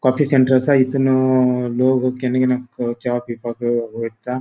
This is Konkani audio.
कॉफी सेंटर असा इतुनु लोग केन केन अ चाव पिवपाक वएता.